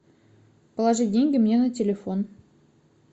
положить деньги мне на телефон